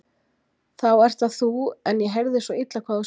Þá ert það þú en ég heyrði svo illa hvað þú sagðir.